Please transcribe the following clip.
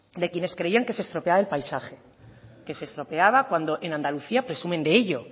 de quienes creían que se estropeaba el paisaje que se estropeaba cuando en andalucía presumen de ello